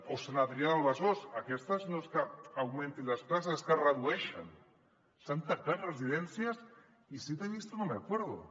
o sant adrià de besòs en aquesta no és que s’augmentin les places és que es redueixen s’han tancat residències i si te he visto no me acuerdo